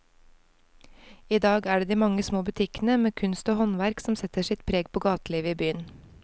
I dag er det de mange små butikkene med kunst og håndverk som setter sitt preg på gatelivet i byen.